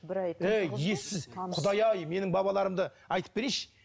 ей ессіз құдай ай менің бабаларымды айтып берейінші